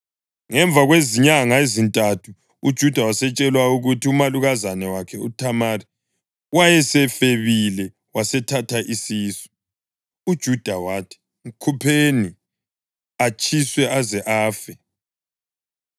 Ngemva kwezinyanga ezintathu uJuda watshelwa ukuthi umalukazana wakhe uThamari wayesefebile wasethatha isisu. UJuda wathi, “Mkhupheni, atshiswe aze afe.”